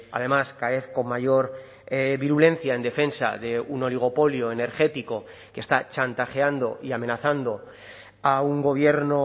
además cada vez con mayor virulencia en defensa de un oligopolio energético que está chantajeando y amenazando a un gobierno